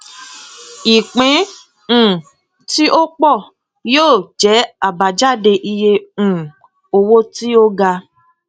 ìpín um tí ó pọ yóò jẹ abájáde iye um owó tí ó ga